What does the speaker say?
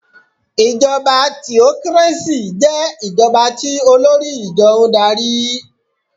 Ìjọba theocracy jẹ́ ìjọba tí olórí ìjọ n darí